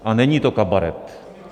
A není to kabaret.